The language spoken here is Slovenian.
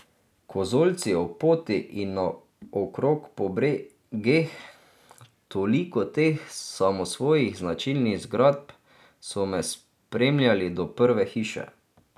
Kozolci ob poti in naokrog po bregeh, toliko teh samosvojih značilnih zgradb, so me spremljali do prve hiše.